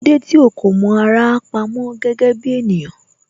Kílódé tí ó kò mọ ara pamó gẹ́gẹ́ bí ènìyàn